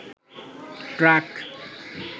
truck